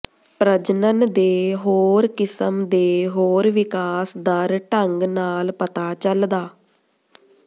ਪ੍ਰਜਨਨ ਦੇ ਹੋਰ ਕਿਸਮ ਦੇ ਹੋਰ ਵਿਕਾਸ ਦਰ ਢੰਗ ਨਾਲ ਪਤਾ ਚੱਲਦਾ